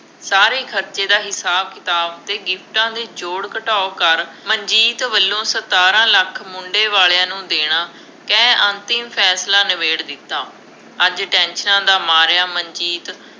ਸਾਰੇ ਖਰਚੇ ਦਾ ਹਿਸਾਬ-ਕਿਤਾਬ ਅਤੇ ਗਿਫਟਾਂ ਦੇ ਜੋੜ-ਘਟਾਓ ਕਰ, ਮਨਜੀਤ ਵੱਲੋਂ ਸਤਾਰਾਂ ਲੱਖ ਮੁੰਡੇ ਵਾਲਿਆ ਨੂੰ ਦੇਣਾ, ਕਹਿ ਅੰਤਿਮ ਫੈਸਲਾ ਨਿਬੇੜ ਦਿੱਤਾ। ਅੱਜ ਟੈਨਸ਼ਨਾਂ ਦਾ ਮਾਰਿਆ ਮਨਜੀਤ